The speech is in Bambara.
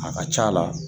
A ka ca la